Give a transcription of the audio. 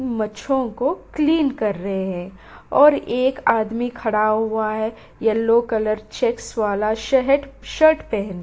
मच्छों को क्लीन कर रहे हैं और एक आदमी खड़ा हुआ है येलो कलर चेक्स वाला शहट शर्ट पेहन --